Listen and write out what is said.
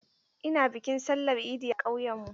Ina bikin sallar idi a ƙauyen mu.